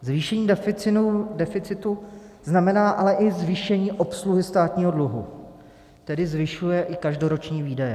Zvýšení deficitu znamená ale i zvýšení obsluhy státního dluhu, tedy zvyšuje i každoroční výdaje.